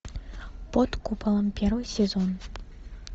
под куполом первый сезон